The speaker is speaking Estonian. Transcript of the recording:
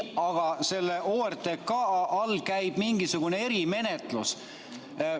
Aga et OTRK all käib mingisugune erimenetlus.